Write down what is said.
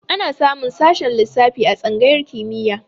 Ana samun sashen lissafi a tsangayar kimiyya.